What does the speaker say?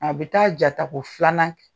A bɛ taa jatako filanan kɛ.